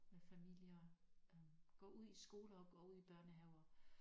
Med familie øh går ud i skoler og går ud i børnehaver